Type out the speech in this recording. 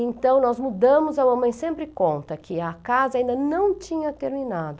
Então, nós mudamos, a mamãe sempre conta que a casa ainda não tinha terminado.